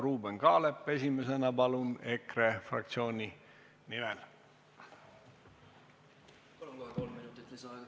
Ruuben Kaalep EKRE fraktsiooni nimel!